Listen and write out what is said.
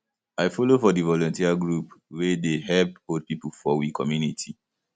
i folo for di volunteer group wey dey help old pipo for we community